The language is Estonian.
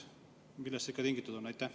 Millest see tingitud on?